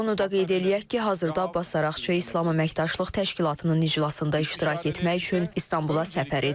Onu da qeyd eləyək ki, hazırda Abbas Araqçı İslam Əməkdaşlıq Təşkilatının iclasında iştirak etmək üçün İstanbula səfər edib.